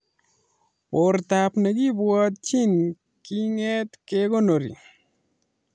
Bortab nekibwotchin kinget kekonori